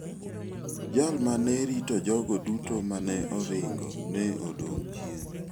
Jal ma ne rito jogo duto ma ne oringo ne odong' chien.